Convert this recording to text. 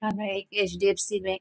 हान्गा एक एच.डी.एफ.सी. बैंक --